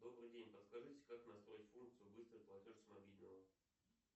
добрый день подскажите как настроить функцию быстрый платеж с мобильного